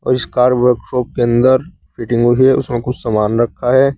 इस car workshop के अंदर फिटिंग हुई है उसमें कुछ सामान रखा है।